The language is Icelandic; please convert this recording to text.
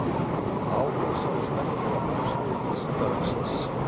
Áhugasamar stelpur á námskeiði Vísindavefsins!